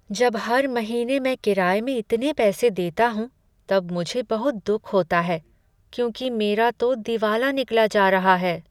जब हर महीने मैं किराए में इतने पैसे देता हूँ तब मुझे बहुत दुख होता है क्योंकि मेरा तो दिवाला निकला जा रहा है।